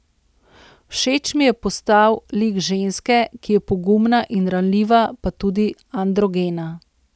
Všeč mi je postal lik ženske, ki je pogumna in ranljiva pa tudi androgena.